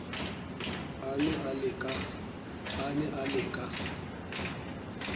a ne a le ka